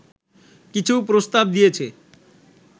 কিছু প্রস্তাব দিয়েছে